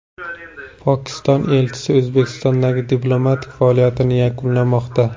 Pokiston elchisi O‘zbekistondagi diplomatik faoliyatini yakunlamoqda.